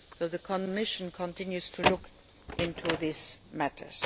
The Commission is continuing to look into this matter.